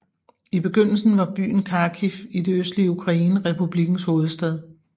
I begyndelsen var byen Kharkiv i det østlige Ukraine republikkens hovedstad